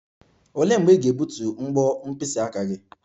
Olee mgbe ị ga-egbutu mbo mkpịsị aka gị?